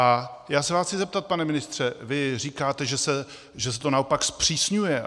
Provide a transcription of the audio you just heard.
A já se vás chci zeptat, pane ministře - vy říkáte, že se to naopak zpřísňuje.